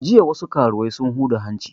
Jiya wasu karuwai sun huda hanci